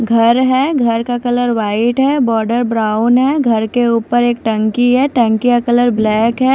घर है घर का कलर व्हाइट है बॉर्डर ब्राउन है घर के ऊपर एक टंकी है टंकी का कलर ब्लैक है।